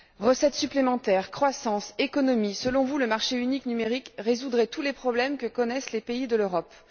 Recettes supplémentaires, croissance, économie, selon vous, le marché unique numérique résoudrait tous les problèmes que connaissent les pays de l'Europe.